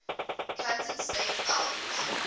kansas state alums